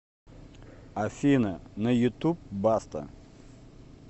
афина на ютуб баста